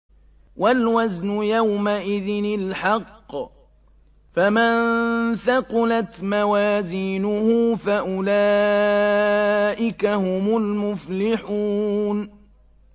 وَالْوَزْنُ يَوْمَئِذٍ الْحَقُّ ۚ فَمَن ثَقُلَتْ مَوَازِينُهُ فَأُولَٰئِكَ هُمُ الْمُفْلِحُونَ